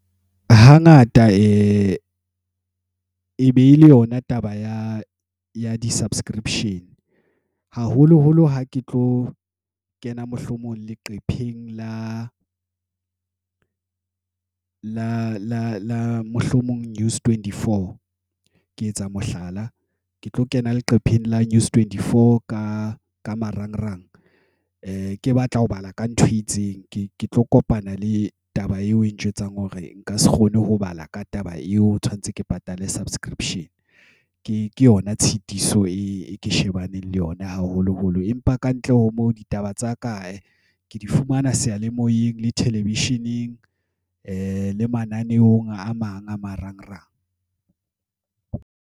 Hangata behele yona taba ya di subscription haholoholo ha ke tlo kena, mohlomong leqepheng la La La la mohlomong News Twenty Four Ke etsa mohlala, ke tlo kena leqepheng la News Twenty Four ka ka marangrang. A ke batla ho bala ka ntho e itseng, ke ke tlo kopana le taba eo e njwetsang hore nka se kgone ho bala ka taba eo. O tshwanetse ke patale subscription ke yona tshitiso e ke shebaneng le yona haholoholo empa ka kantle teng ho mo ditaba tsa kae ke di fumana seyalemoyeng le television_eng le mananeong a mang a marangrang